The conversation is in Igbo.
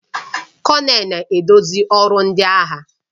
Kọnel na-eduzi ọrụ ndị agha